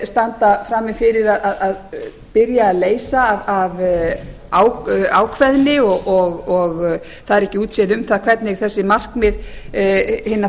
standa frammi fyrir að byrja að leysa af ákveðni og það er ekki útséð um það hvernig þessi markmið hinna